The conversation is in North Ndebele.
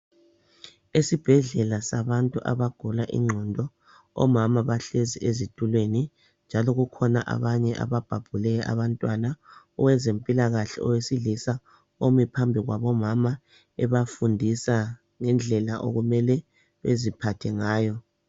Esibhedlela sabantu abagula ingqondo omama bahlezi ezitulweni njalo kukhona abanye ababhabhule abantwanwa owezempilakahle owesilisa omi phambi kwabo mama ebafundisa ngendlela okumele baziphathe ngayo